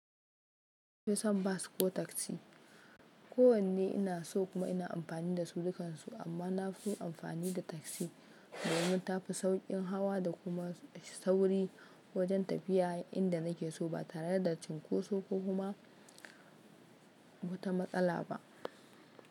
Fi son bas ko taksi. Ko wanne ina so kuma ina amfani da su dukan su, amma na fi amfani da taksi, domin tafi sauƙin hawa da kuma sauri wajen tafiya inda nake so ba tare da cinkoso ko kuma wata matsala ba.